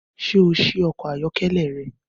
Ṣé o ṣí ọkọ̀ ayọ́kẹ́lẹ́ rẹ?